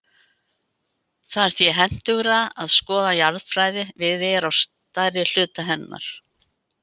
Það er því hentugra að skoða jarðfræði Viðeyjar á stærri hluta hennar.